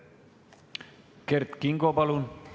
Kert Kingo, palun!